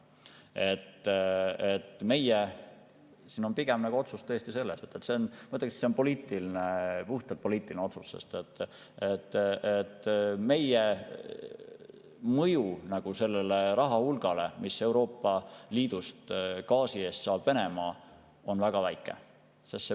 Nii et meie otsus pigem tõesti on puhtalt poliitiline otsus, sest meie mõju sellele rahahulgale, mida Venemaa Euroopa Liidust gaasi eest saab, on väga väike.